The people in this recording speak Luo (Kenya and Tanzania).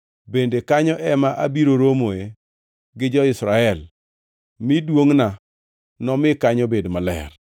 bende kanyo ema abiro romoe gi jo-Israel, mi duongʼna nomi kanyo bed maler.